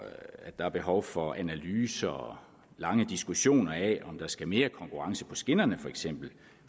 der er behov for analyser og lange diskussioner af om der skal mere konkurrence på skinnerne for eksempel